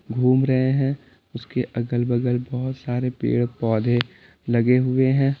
घूम रहे हैं उसके अगल बगल बहुत सारे पेड़ पौधे लगे हुए हैं।